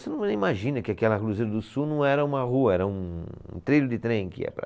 Você não imagina que aquela cruzeiro do sul não era uma rua, era um, um trilho de trem que ia para